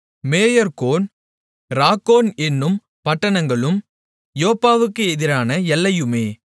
மேயார்கோன் Rakkon என்னும் பட்டணங்களும் யோப்பாவுக்கு எதிரான எல்லையுமே